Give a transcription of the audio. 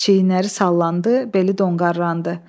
Çiyinləri sallandı, beli donqarlandı.